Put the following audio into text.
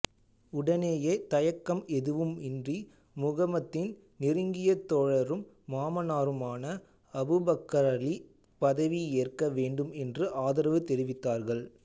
உடனேயே தயக்கம் எதுவும் இன்றி முகம்மதின் நெருங்கிய தோழரும் மாமனாருமான அபூபக்கர்ரலி பதவி ஏற்க வேண்டும் என்று ஆதரவு தெரிவித்தார்கள்